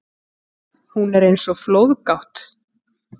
Hún er eins og flóðgátt.